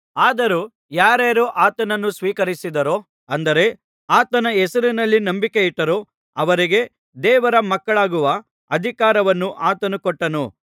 ಆದರೂ ಯಾರಾರು ಆತನನ್ನು ಸ್ವೀಕರಿಸಿದರೋ ಅಂದರೆ ಆತನ ಹೆಸರಿನಲ್ಲಿ ನಂಬಿಕೆಯಿಟ್ಟರೋ ಅವರಿಗೆ ದೇವರ ಮಕ್ಕಳಾಗುವ ಅಧಿಕಾರವನ್ನು ಆತನು ಕೊಟ್ಟನು